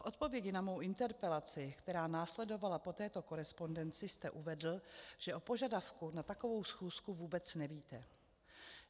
V odpovědi na mou interpelaci, která následovala po této korespondenci, jste uvedl, že o požadavku na takovou schůzku vůbec nevíte.